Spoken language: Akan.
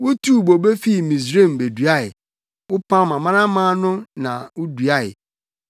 Wutuu bobe fi Misraim beduae; wopam amanaman no na wuduae.